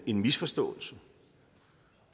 en misforståelse